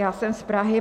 Já jsem z Prahy.